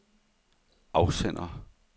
afsender